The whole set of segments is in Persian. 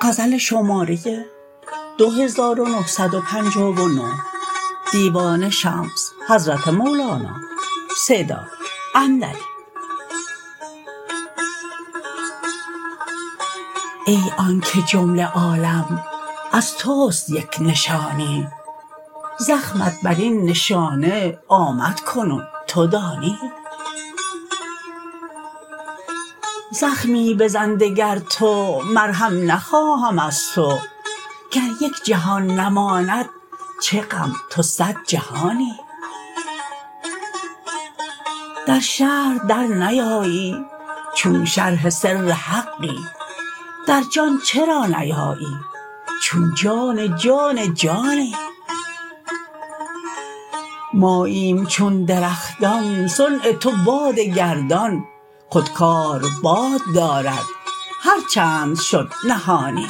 ای آنک جمله عالم از توست یک نشانی زخمت بر این نشانه آمد کنون تو دانی زخمی بزن دگر تو مرهم نخواهم از تو گر یک جهان نماند چه غم تو صد جهانی در شرح درنیایی چون شرح سر حقی در جان چرا نیایی چون جان جان جانی ماییم چون درختان صنع تو باد گردان خود کار باد دارد هر چند شد نهانی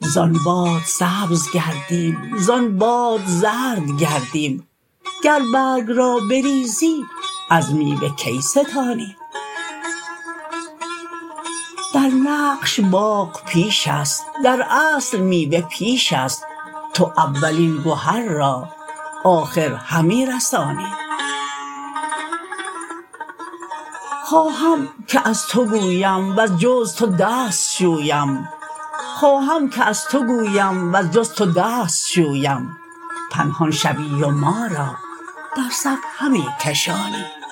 زان باد سبز گردیم زان باد زرد گردیم گر برگ را بریزی از میوه کی ستانی در نقش باغ پیش است در اصل میوه پیش است تو اولین گهر را آخر همی رسانی خواهم که از تو گویم وز جز تو دست شویم پنهان شوی و ما را در صف همی کشانی